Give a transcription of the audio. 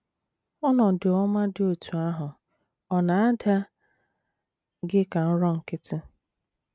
Ọnọdụ ọma dị otú ahụ ọ̀ na - ada gị ka nrọ nkịtị?